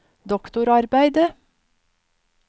doktorarbeidet